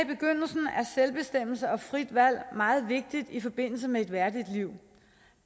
selvbestemmelse og frit valg meget vigtigt i forbindelse med et værdigt liv